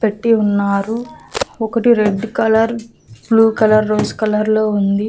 పెట్టి ఉన్నారు ఒకటి red colour blue colour rose colour లో ఉంది.